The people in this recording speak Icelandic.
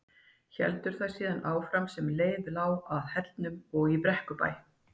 Héldu þær síðan áfram sem leið lá að Hellnum og í Brekkubæ.